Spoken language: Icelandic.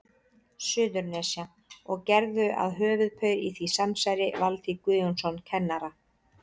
Suðurnesja, og gerðu að höfuðpaur í því samsæri Valtý Guðjónsson kennara.